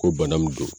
Ko bana min don